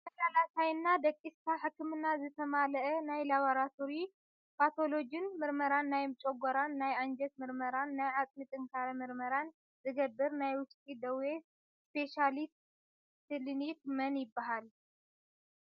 ተመላላሳይና ደቅስካ ሕክምናንዝተማለኣ ናይ ላቦራቶሪን ፓቶሎጅን ምርመራን ናይ ጨጎራና ናይ ኣንጀት ምርመራን ናይ ዓፅሚ ጥንካረ ምርመራን ዝገብር ናይ ውሽጢ ደዌ ስፔሻሊቲ ክሊኒክ መን ይብሃል?